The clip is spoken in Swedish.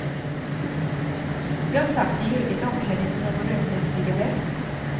Jag satt i eget omklädningsrum och rökte en cigarett.